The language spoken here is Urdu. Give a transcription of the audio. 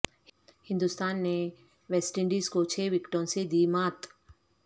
ہندوستان نے ویسٹ انڈیز کو چھ وکٹوں سے دی مات